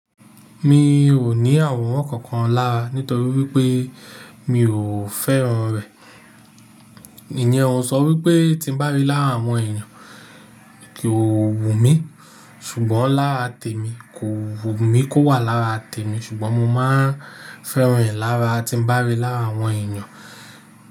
Mi ò ní àwòrán kankan lára nítorí wípé mi ò fẹ́ran rẹ̀. Ìní ẹ o sọ wípé tí ń bá rí lára àwọn èèyàn kì o wù mí, ṣùgbọ́n lára tèmi kò wù mí kó wà lára tèmi ṣùgbọ́n mo máa ń fẹ́ran rẹ̀ lára tí ń bá rí lára àwọn èèyàn.